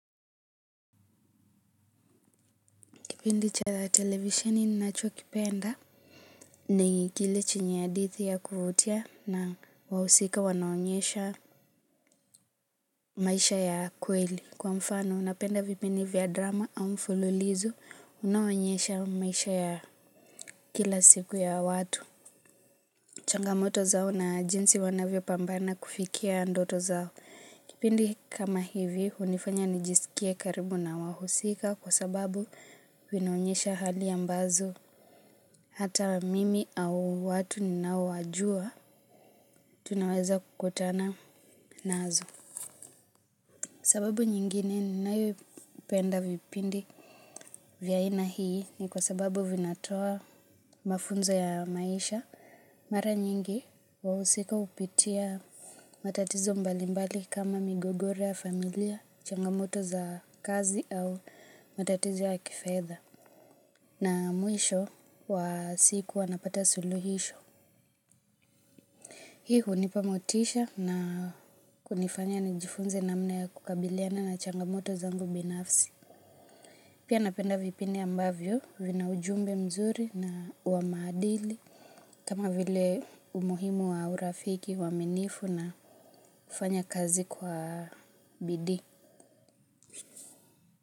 Kipindi cha televisheni ninachokipenda ni kile chenyi hadithi ya kuvutia na wahusika wanaonyesha maisha ya kweli. Kwa mfano napenda vipindi vya drama au mfululizo unaoonyesha maisha ya kila siku ya watu. Changamoto zao na jinsi wanavyo pambana kufikia ndoto zao. Kipindi kama hivi hunifanya nijisikie karibu na wahusika kwa sababu vinaonyesha hali ambazo. Hata mimi au watu ninaowajua, tunaweza kukutana nazo. Sababu nyingine ninayopenda vipindi vya aina hii ni kwa sababu vinatoa mafunzo ya maisha. Mara nyingi wahusika hupitia matatizo mbalimbali kama migogore ya familia, changamoto za kazi au matatizo ya kifedha. Na mwisho wa siku wanapata suluhisho. Hii hunipa motisha na kunifanya nijifunze namna ya kukabiliana na changamoto zangu binafsi. Pia napenda vipindi ambavyo vina ujumbe mzuri na wa maadili. Kama vile umuhimu wa urafiki, uaminifu na kufanya kazi kwa bidii.